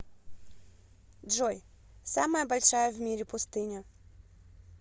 джой самая большая в мире пустыня